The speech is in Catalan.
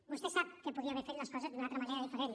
vostè sap que podia haver fet les coses d’una altra manera diferent